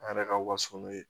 An yɛrɛ ka waso n'o ye